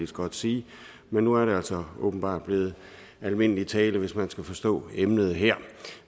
så godt sige men nu er det altså åbenbart blevet almindelig tale hvis man skal forstå emnet her